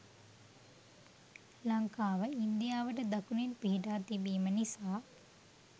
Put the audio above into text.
ලංකාව ඉන්දියාවට දකුණෙන් පිහිටා තිබීම නිසා